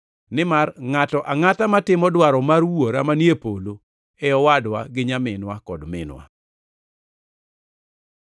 Nimar ngʼato angʼata matimo dwaro mar Wuora manie polo e owadwa gi nyaminwa kod minwa.”